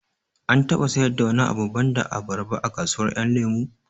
An taɓa sayar da wani abu banda abarba a kasuwar ƴan lemo